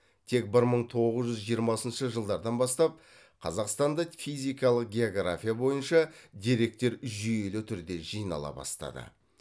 тек бір мың тоғыз жүз жиырмасыншы жылдардан бастап қазақстанда физикалық география бойынша деректер жүйелі түрде жинала бастады